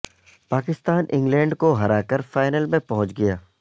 Pakistan England کو ہرا کر فائنل میں پہنچ گیا